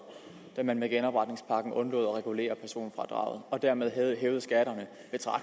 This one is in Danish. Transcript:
da man med genopretningspakken undlod at regulere personfradraget og dermed hævede skatterne